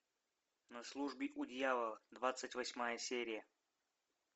на службе у дьявола двадцать восьмая серия